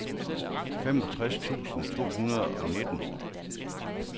femogtres tusind to hundrede og nitten